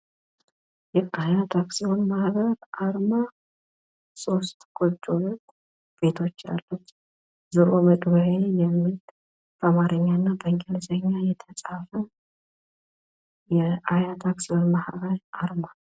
የአያት አክሲዮን ማህበር አርማ ሶስት ጎጆ ቤቶች ያሉት ዞሮ መግቢያዬ የሚል በአማርኛና በኢንግሊዘኛ የተፃፈ የአያት አክሲዮን ማህበር አርማ።